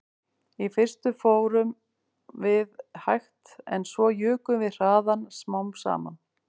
Í fyrstu fórum við hægt en svo jukum við hraðann smám saman